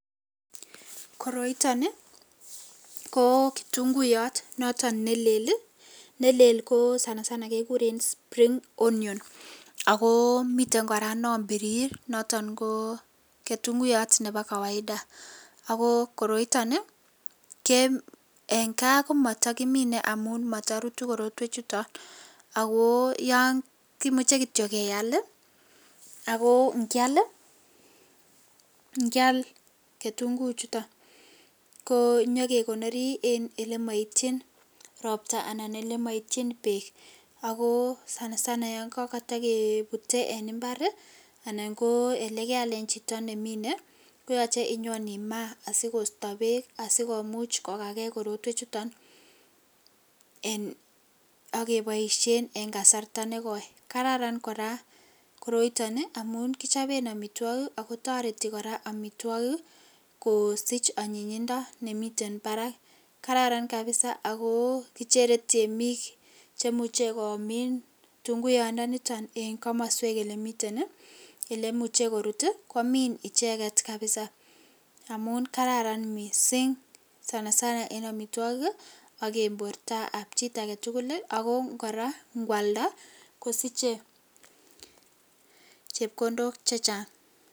Koroiton ii ko kitunguyot noton nelel ii , nelel sana sana kekuren spring onions, ako miten koraa non birir noton ko ketunguiyot nebo kawaida ko koroiton ii ko en kaa komotokimine motorutu korotwechuton ako kimuche kityok keal ii, ako ingial, ingial ketunguichuto ko nyokekonori en olemoitchin ropta anan ko elemoitchin beek, ako sana sana yon kotokebute en imbar ii anan ko kealen chito nemine koyoche inyon imaa asikosto beek asikokakee korotwechuton en ak keboisien en kasarta nekoi , kararan koraa koroiton amun kichoben omitwogik ako toreti omitwogik kosich onyinyindo nemiten barak, kararan kabisa ako kichere temik cheimuche komin kitunguyondoniton en komoswek elemiten ii elemuche korut ii komin icheket kabisa amun kararan missing' sana sana en omitwogik ii ak en borta ap chi agetugul ii, ako koraa ngwalda kosiche chepkondok chechang.